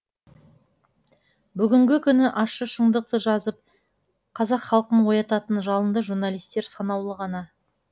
бүгінгі күні ащы шындықты жазып қазақ халқын оятатын жалынды журналистер санаулы ғана